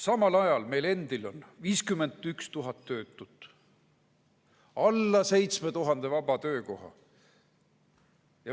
Samal ajal on meil endil 51 000 töötut ja alla 7000 vaba töökoha.